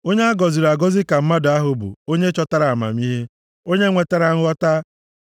Onye a gọziri agọzi ka mmadụ ahụ bụ onye chọtara amamihe, onye nwetara nghọta.